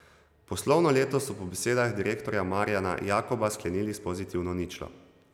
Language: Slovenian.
Poslovno leto so po besedah direktorja Marjana Jakoba sklenili s pozitivno ničlo.